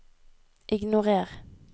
ignorer